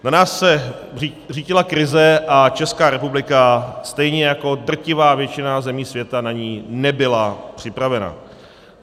Na nás se řítila krize a Česká republika stejně jako drtivá většina zemí světa na ni nebyla připravena.